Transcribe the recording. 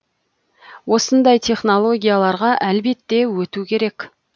осындай технологияларға әлбетте өту керек